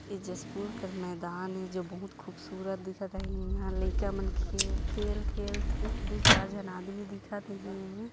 ए जसपुर कर मैदान है जो बहुंत खूबसूरत दिखत है इहाँ लइका मन खेल खेल खेलथैं दुइ चार झन आदमी दिखत हे एमे ।